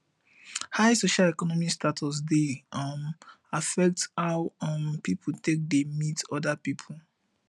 high social economic status dey um affect how um pipo take dey meet oda pipo